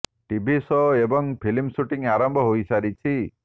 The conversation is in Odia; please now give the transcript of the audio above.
ଟିଭି ଶୋ ଏବଂ ଫିଲ୍ମ ସୁଟିଂ ଆରମ୍ଭ ହୋଇ ସାରିଛି